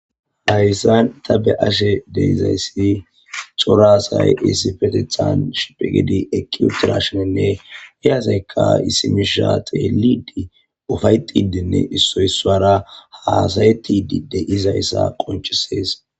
Hayssan ta be ashe deizayssi xoraasay issi fetethan shipigidi ekki utirashenenne hiyasaykka isimisha xeelidi ufayxidinne issoysara haasayetididey izayssa qonchisees.